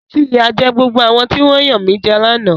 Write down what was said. Fi ìyà jẹ gbogbo àwọn tí wọ́n yanmijẹ lánàá!